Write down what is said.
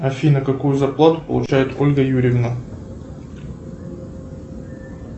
афина какую зарплату получает ольга юрьевна